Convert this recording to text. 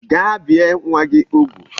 Gaa bie nwa gi ugwu